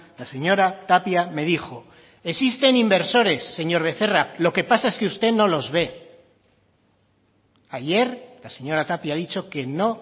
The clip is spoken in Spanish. la señora tapia me dijo existen inversores señor becerra lo que pasa es que usted no los ve ayer la señora tapia ha dicho que no